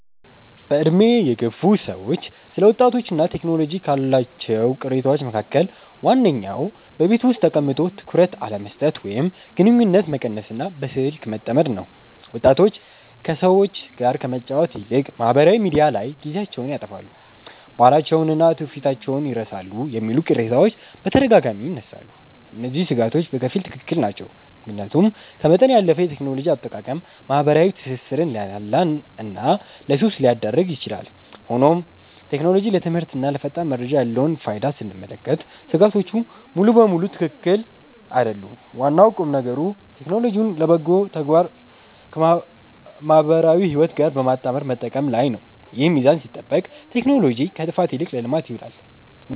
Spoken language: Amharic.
በዕድሜ የገፉ ሰዎች ስለ ወጣቶችና ቴክኖሎጂ ካሏቸው ቅሬታዎች መካከል ዋነኛው በቤት ውስጥ ተቀምጦ ትኩረት አለመስጠት ወይም ግንኙነት መቀነስና በስልክ መጠመድ ነው። ወጣቶች ከሰዎች ጋር ከመጫወት ይልቅ ማኅበራዊ ሚዲያ ላይ ጊዜያቸውን ያጠፋሉ፣ ባህላቸውንና ትውፊታቸውን ይረሳሉ የሚሉ ቅሬታዎች በተደጋጋሚ ይነሳሉ። እነዚህ ሥጋቶች በከፊል ትክክል ናቸው፤ ምክንያቱም ከመጠን ያለፈ የቴክኖሎጂ አጠቃቀም ማኅበራዊ ትስስርን ሊያላላና ለሱስ ሊዳርግ ይችላል። ሆኖም ቴክኖሎጂ ለትምህርትና ለፈጣን መረጃ ያለውን ፋይዳ ስንመለከት ሥጋቶቹ ሙሉ በሙሉ ትክክል አይደሉም። ዋናው ቁምነገር ቴክኖሎጂውን ለበጎ ተግባርና ከማኅበራዊ ሕይወት ጋር በማመጣጠር መጠቀም ላይ ነው። ይህ ሚዛን ሲጠበቅ ቴክኖሎጂ ከጥፋት ይልቅ ለልማት ይውላል።